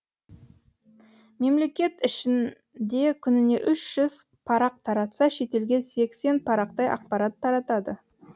мемлекет ішінде күніне үш жүзге парақ таратса шетелге сексен парақтай ақпарат таратады